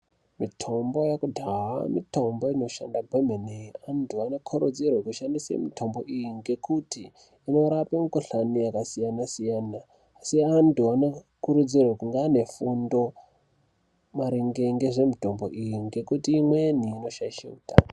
Mitombo yekudhaya mitombo inoshanda kwemene antu anokurudzirwa kushandisa mitombo iyi ngekuti inorapa mikuhlani yakasiyana-siyana asi antu anokurudzirwa kunge ane fundo maringe ngemitombo iyi ngekuti imweni inoshaisha hutano.